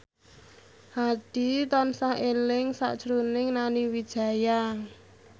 Hadi tansah eling sakjroning Nani Wijaya